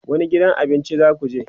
wani gidan abincin zakuje?